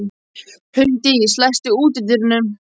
Huldís, læstu útidyrunum.